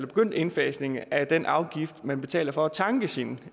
begyndt indfasningen af den afgift man betaler for at tanke sin